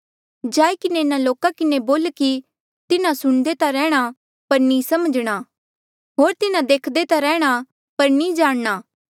जाई किन्हें इन्हा लोका किन्हें बोल कि तिन्हा सुणदे ता रैंह्णां पर नी समझ्दे होर तिन्हा देख्दे ता रैंह्णां पर नी जाणदे